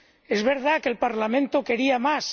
Es verdad que el Parlamento quería más.